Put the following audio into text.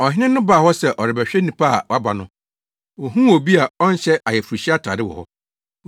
“Ɔhene no baa hɔ sɛ ɔrebɛhwɛ nnipa a wɔaba no, ohuu obi a ɔnhyɛ ayeforohyia atade wɔ hɔ.